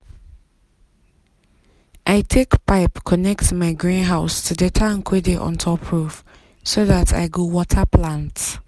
i take pipe connect my greenhouse to the tank wey dey on top roof so dat i um go water plants.